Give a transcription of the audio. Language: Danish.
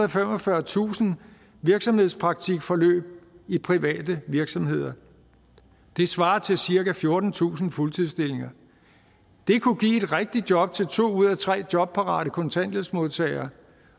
og femogfyrretusind virksomhedspraktikforløb i private virksomheder det svarer til cirka fjortentusind fuldtidsstillinger det kunne give et rigtigt job til to ud af tre jobparate kontanthjælpsmodtagere